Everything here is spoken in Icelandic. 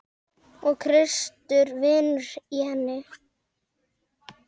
Og Kristur vinnur í henni.